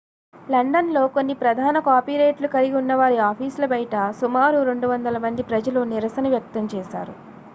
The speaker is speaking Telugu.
లండన్ లో కొన్ని ప్రధాన కాపీరైట్లు కలిగి ఉన్నవారి ఆఫీసుల బయట సుమారు 200 మంది ప్రజలు నిరసన వ్యక్తం చేశారు